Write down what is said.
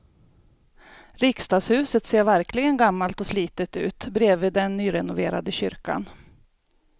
Riksdagshuset ser verkligen gammalt och slitet ut bredvid den nyrenoverade kyrkan.